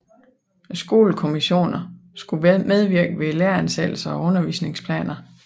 Skolekommissionerne skulle medvirke ved læreransættelser og undervisningsplaner